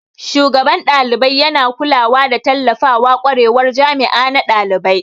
Shugaban dalibai yana kulawa da tallafawa kwarewar jami'a na dalibai.